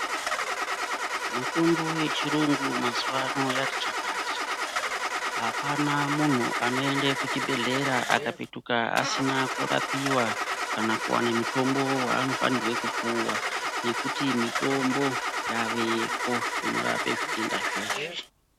Mitombo yechirungu mazuva ano yati chakata, apana muntu anoende kuchibhedhlera akapetuka asina kurapiwa kana kuwane mutombo waanofanirwe kupuwa, mitombo yaveko inorape zvitenda zveshe.